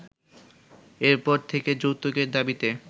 এরপর থেকে যৌতুকের দাবিতে